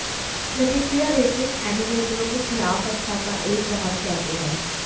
प्रतिक्रिया रेटिंग एनिमेटरों के खिलाफ अच्छा का एक बहुत कहते हैं